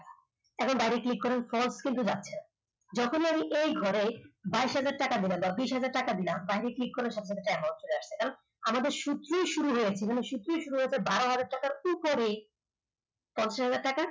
এখন বাইরে click করার পর যখনই আমি এই ঘরে বাইস হাজার টাকা দিলাম বা বিশ হাজার টাকা দিলাম বাইরে click করলে সবগুলো তো amount চলে আসবে আমাদের সূত্রই শুরু হয়েছে যে সূত্র শুরু হয়েছে বারোহাজার টাকার উপরে পঞ্চাশহাজার টাকার